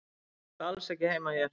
Þú átt alls ekki heima hér.